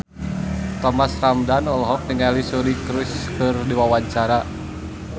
Thomas Ramdhan olohok ningali Suri Cruise keur diwawancara